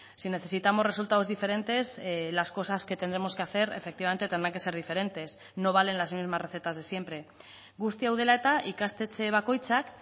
si necesitamos resultados diferentes las cosas que tendremos que hacer efectivamente tendrán que ser diferentes no valen las mismas recetas de siempre guzti hau dela eta ikastetxe bakoitzak